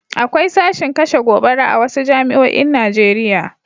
Akwai sashin kashe gobara a wasu jami'oin Najeriya.